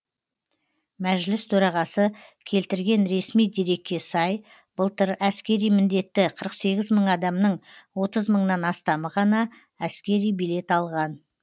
мәжіліс төрағасы келтірген ресми дерекке сай былтыр әскери міндетті қырық сегіз мың адамның отыз мыңнан астамы ғана әскери билет алған